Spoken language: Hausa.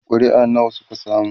ƙuri'a nawa Suka samu?